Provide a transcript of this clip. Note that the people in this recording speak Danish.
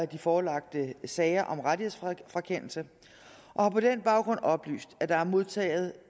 de forelagte sager om rettighedsfrakendelse og har på den baggrund oplyst at der er modtaget